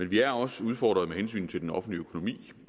vi er også udfordret med hensyn til den offentlige økonomi